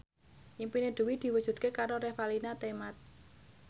impine Dwi diwujudke karo Revalina Temat